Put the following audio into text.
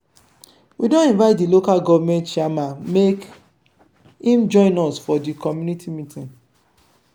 we don invite di local government chairman make im join us for di community meeting.